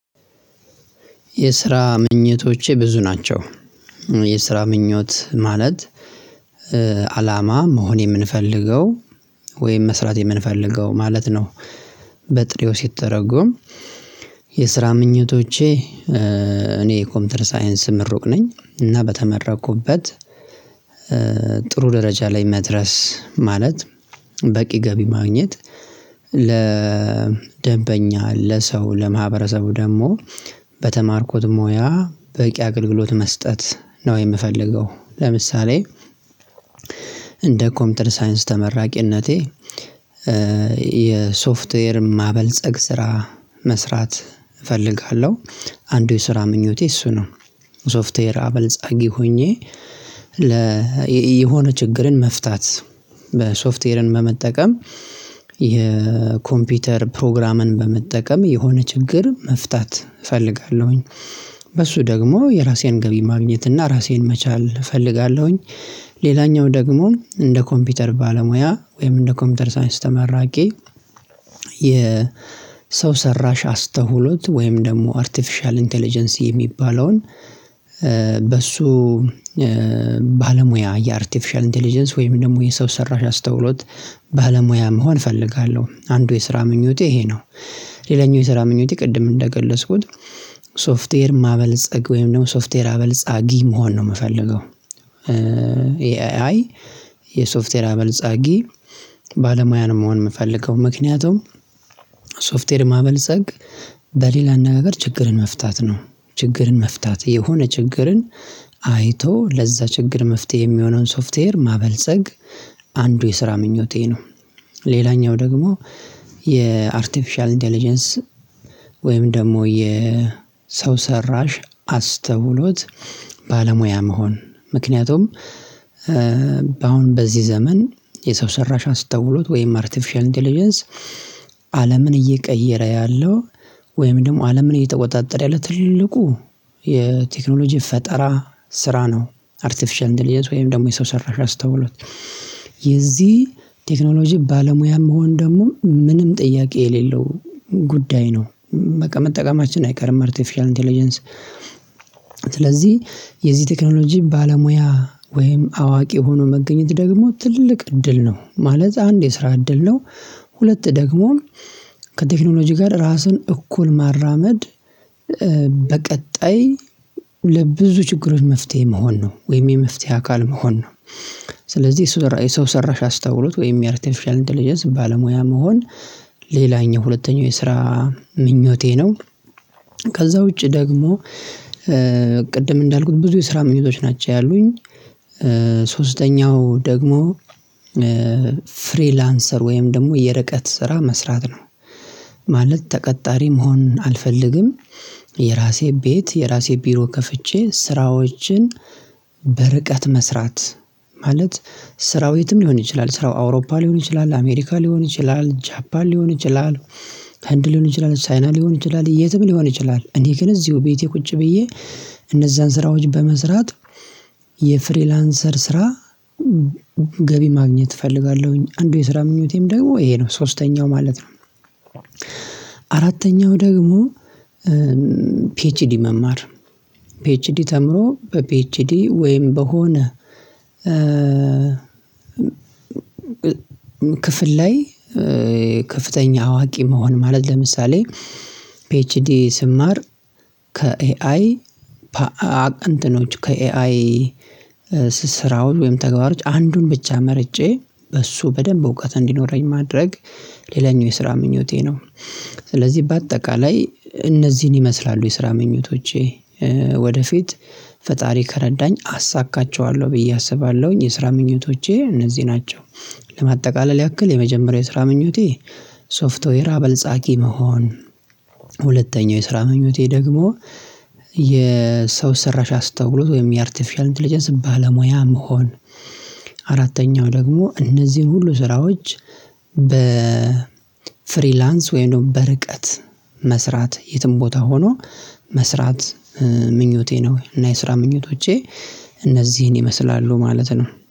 የስራ ምኞቶቼ ብዙ ናቸው። የስራ ምኞት ማለት አላማ መሆን የምንፈልገው ወይም መስራት የምንፈልገው ማለት ነው። በጥሬው ሲተረጎም። የስራ ምኞቶቼ እኔ ኮምፒውተር ሳይንስ ምሩቅ ነኝ እና በተመረኩበት። ጥሩ ደረጃ ላይ መድረስ ማለት በቂ ገቢ ማግኘት። ለደንበኛ ለሰው ለማህበረሰቡ ደግሞ በተማርኩት ሙያ በቂ አገልግሎት መስጠት ነው የምፈልገው። ለምሳሌ እንደ ኮምፒውተር ሳይንስ ተመራቂነቴ። የሶፍትዌር ማበልጸግ ስራ መስራት እፈልጋለሁ። አንዱ የስራ ምኞቴ እሱ ነው። ሶፍትዌር አበልጸጊ ሆኜ። የሆነ ችግርን መፍታት በሶፍትዌርን በመጠቀም የኮምፒውተር ፕሮግራምን በመጠቀም የሆነ ችግር መፍታት እፈልጋለሁኝ። በሱ ደግሞ የራሴን ገቢ ማግኘት እና ራሴን መቻል እፈልጋለሁኝ። ሌላኛው ደግሞ እንደ ኮምፒውተር ባለሙያ ወይም እንደ ኮምፒውተር ሳይንስ ተመራቂ። የ ሰው ሰራሽ አስተውሎት ወይም ደግሞ አርቲፊሻል ኢንተለጀንሲ የሚባለውን በሱ ባለሙያ የአርቲፊሻል ኢንተለጀንስ ወይም ደግሞ የሰው ሰራሽ አስተውሎት ባለሙያም መሆን እፈልጋለሁ። አንዱ የስራ ምኞቴ ይሄ ነው። ሌላኛው የስራ ምኞቴ ቅድም እንደገለጽኩት ሶፍትዌር ማበልጸግ ወይም ደግሞ ሶፍትዌር አበልጻጊ መሆን ነው ምፈልገው። የኤአይ የሶፍትዌር አበልጻጊ ባለሙያ ነው መሆን ምፈልገው ምክንያቱም። ሶፍትዌር ማበልጸግ በሌላ እነጋገር ችግርን መፍታት ነው። ችግርን መፍታት የሆነ ችግርን አይቶ ለዛ ችግር መፍትሄ ሚሆነውን ሶፍትዌር ማበልጸግ። አንዱ የስራ ምኞቴ ነው። ሌላኛው ደግሞ የአርቲፊሻል ኢንተለጀንስ ወይም ደግሞ የሰው ሰራሽ አስተውሎት ባለሙያ መሆን ምክንያቱም። አሁን በዚህ ዘመን የሰው ሰራሽ አስተውሎት ወይም አርቲፊሻል ኢንተለጀንስ አለምን እየቀየረ ያለው ወይም ደግሞ አለምን እየተቆጣጠረ ያለ ትልቁ የቴክኖሎጂ ፈጠራ ስራ ነው። አርቲፊሻል ኢንተለጀንስ ወይም ደግሞ የሰው ሰራሽ አስተውሎት የዚህ ቴክኖሎጂ ባለሙያ መሆን ደግሞ ምንም ጥያቄ የሌለው ጉዳይ ነው። በቃ መጠቀማችን አይቀርም አርቲፊሻል ኢንተለጀንስ። ስለዚህ የዚህ ቴክኖሎጂ ባለሙያ ወይም አዋቂ ሆኖ መገኘት ደግሞ ትልቅ እድል ነው ማለት አንድ የስራ እድል ነው። ሁለት ደግሞ ከቴክኖሎጂ ጋር ራስን እኩል ማራመድ። በቀጣይ ለብዙ ችግሮች መፍትሄ መሆን ነው ወይም የመፍትሄ አካል መሆን ነው። ስለዚህ የሰው ሰራሽ አስተውሎት ወይም የአርቲፊሻል ኢንተለጀንስ ባለሙያ መሆን ሌላኛው ሁለተኛው የስራ ምኞቴ ነው። ከዛ ውጪ ደግሞ ቅድም እንዳልኩት ብዙ የስራ ምኞቶች ናቸው ያሉኝ። ሶስተኛው ደግሞ ፍሪላንሰር ወይም ደግሞ የርቀት ስራ መስራት ነው። ማለት ተቀጣሪ መሆን አልፈልግም። የራሴ ቤት የራሴ ቢሮ ከፍቼ ስራዎችን በርቀት መስራት ማለት ስራው የትም ሊሆን ይችላል ስራው አውሮፓ ሊሆን ይችላል አሜሪካ ሊሆን ይችላል ጃፓን ሊሆን ይችላል። ህንድ ሊሆን ይችላል ቻይና ሊሆን ይችላል የትም ሊሆን ይችላል እኔ ግን እዚሁ ቤቴ ቁጭ ብዬ እነዛን ስራዎች በመስራት የፍሪላንሰር ስራ ገቢ ማግኘት እፈልጋለሁኝ። አንዱ የስራ ምኞቴም ደግሞ ይሄ ነው ሶስተኛው ማለት ነው። አራተኛው ደግሞ ፒኤችዲ መማር ፒኤችዲ ተምሮ በፒኤችዲ ወይም በሆነ ክፍል ላይ ክፍተኛ አዋቂ መሆን ማለት ለምሳሌ ፒኤችዲ ስማር ከኤአይ እንትኖች ከኤአይ ስራዎች ወይም ተግባሮች አንዱን ብቻ መርጬ በሱ በደንብ እውቀት እንዲኖረኝ ማድረግ ሌላኛው የስራ ምኞቴ ነው። ስለዚህ በአጠቃላይ እነዚህን ይመስላሉ የስራ ምኞቶቼ ወደፊት ፈጣሪ ከረዳኝ አሳካቸዋለሁ ብዬ አስባለሁኝ የስራ ምኞቴ እነዚህ ናቸው። ለማጠቃለል ያክል የመጀመሪያው የስራ ምኞቴ ሶፍትዌር አበልጻጊ መሆን። ሁለተኛው የስራ ምኞቴ ደግሞ የሰው ሰራሽ አስተውሎት ወይም የአርቲፊሻል ኢንተለጀንስ ባለሙያ መሆን። አራተኛው ደግሞ እነዚህን ሁሉ ስራዎች በፍሪላንስ ወይም ደግሞ በርቀት መስራት የትም ቦታ ሆኖ መስራት ምኞቴ ነው እና የስራ ምኞቶቼ እነዚህን ይመስላሉ ማለት ነው